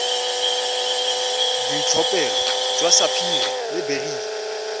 boitlhophelo jwa sapphire le beryl